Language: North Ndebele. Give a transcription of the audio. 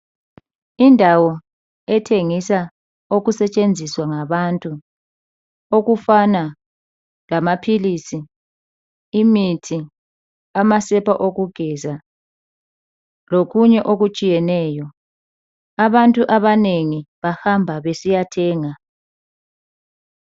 Indawo ethengisa okusetshenziswa ngabantu okufana lamaphilisi imithi amasepa okugeza lokunye okutshiyeneyo abantu abanengi bahamba besiyathenga